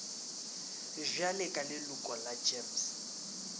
bjale ka leloko la gems